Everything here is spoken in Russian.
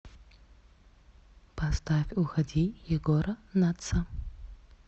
поставь уходи егора натса